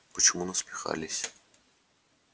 почему насмехались